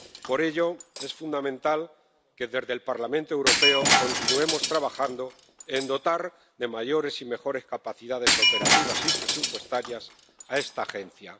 Por ello, es fundamental que desde el Parlamento Europeo continuemos trabajando en dotar de mayores y mejores capacidades operativas y presupuestarias a esta Agencia.